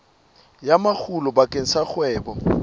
ya makgulo bakeng sa kgwebo